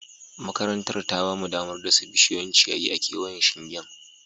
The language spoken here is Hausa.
Makarantar ta ba mu damar dasa bishiyoyin ciyayi a kewayen shingen